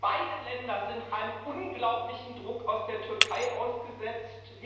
Beide Länder sind einem unglaublichen Druck aus der Türkei ausgesetzt.